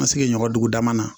Ma sigi ɲɔgɔn dugu dama na